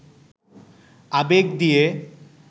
আবেগ দিয়ে